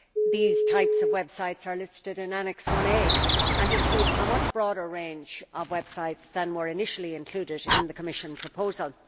These types of websites are listed in Annex 1a and include a much broader range of websites than were initially included in the Commission proposal.